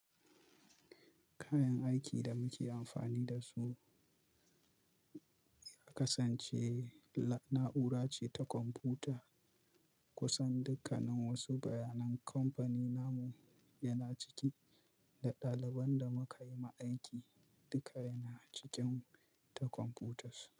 Kayan aiki da muke amfani da su ya kasance na'ura ce ta kwamfuta kusan dukkanin wasu bayanan kamfani namu yana ciki, da ɗaliban da muka yi ma aiki duka yana cikin ta kwamfutas.